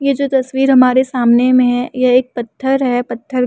ये जो तस्वीर हमारे सामने में है। ये एक पत्थर है पत्थर के --